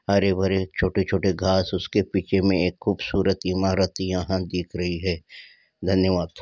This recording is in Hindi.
हरे भरे छोटे-छोटे घास उसके पीछे में खूबसूरत इमारत यहां दिख रही है। धन्यवाद।